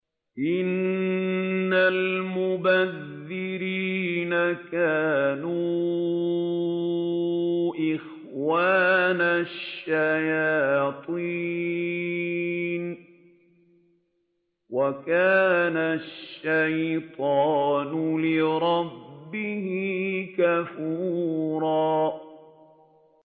إِنَّ الْمُبَذِّرِينَ كَانُوا إِخْوَانَ الشَّيَاطِينِ ۖ وَكَانَ الشَّيْطَانُ لِرَبِّهِ كَفُورًا